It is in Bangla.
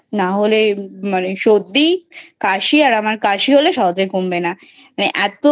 নাহলে মানে সর্দি কাশি আর আমার কাশি হলে সহজে কমবে না মানে ।